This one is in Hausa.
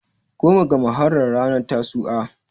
goma ga muharram ranar tasu"a